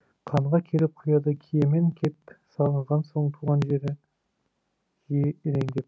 қанға келіп құяды киемен кеп сағынған соң туған жері жиі елеңдеп